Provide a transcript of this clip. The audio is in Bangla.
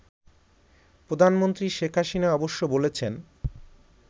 প্রধানমন্ত্রী শেখ হাসিনা অবশ্য বলেছেন